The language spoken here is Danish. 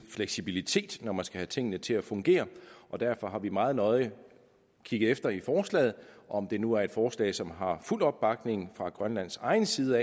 fleksibilitet når man skal have tingene til at fungere og derfor har vi meget nøje kigget efter i forslaget om det nu er et forslag som har fuld opbakning fra grønlands egen side